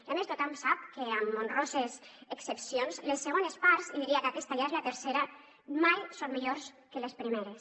i a més tothom sap que amb honroses excepcions les segones parts i diria que aquesta ja és la tercera mai són millors que les primeres